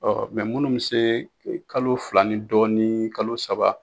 Ɔ minnu bɛ se kalo fila ni dɔɔnin kalo saba